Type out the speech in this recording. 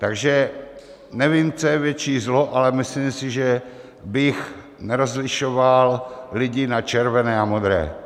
Takže nevím, co je větší zlo, ale myslím si, že bych nerozlišoval lidi na červené a modré.